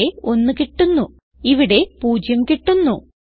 ഇവിടെ 1 കിട്ടുന്നു ഇവിടെ 0 കിട്ടുന്നു